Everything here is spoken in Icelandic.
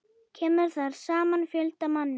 Kemur þar saman fjöldi manna.